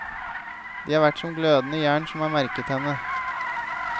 De har vært som glødende jern som har merket henne.